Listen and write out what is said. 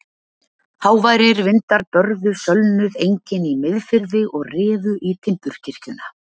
Háværir vindar börðu sölnuð engin í Miðfirði og rifu í timburkirkjuna.